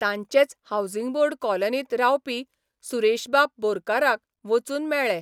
तांचेच housing board कॉलनींत रावपी सुरेशबाब बोरकाराक बचून मेळ्ळे.